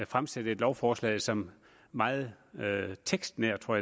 fremsætte et lovforslag som meget tekstnært tror